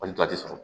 Hali tɔ ti sɔrɔ